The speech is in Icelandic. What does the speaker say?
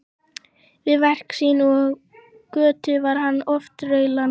Við verk sín og á götu var hann oft raulandi.